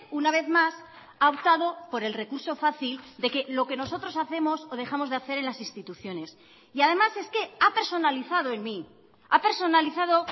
una vez más ha optado por el recurso fácil de que lo que nosotros hacemos o dejamos de hacer en las instituciones y además es que ha personalizado en mí ha personalizado